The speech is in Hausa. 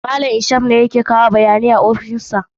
Malam Ishak ne yake kawo bayanai a ofishin sa.